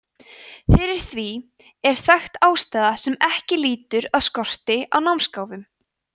fyrir því er þekkt ástæða sem ekki lýtur að skorti á námsgáfum